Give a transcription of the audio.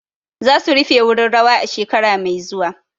Za su rufe wurin rawa a shekara mai zuwa.